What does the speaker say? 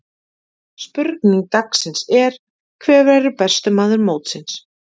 Spurning dagsins er: Hver verður besti maður mótsins?